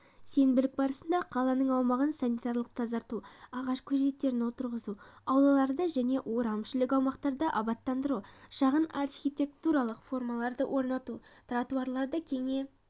сенбілік барысында қаланың аумағын санитарлық тазарту ағаш көшеттерін отырғызу аулаларды және орамішілік аумақтарды абаттандыру шағын архитектуралық формаларды орнату тротуарларды кеңейту жоспарланған